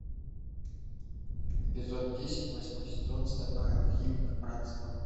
эпизод десять восьмой сезон стальной алхимик братство